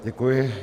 Děkuji.